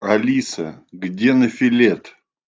алиса где нофелет